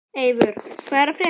Eivör, hvað er að frétta?